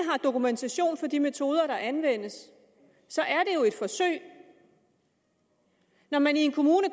har dokumentation for de metoder der anvendes så er det jo et forsøg når man i en kommune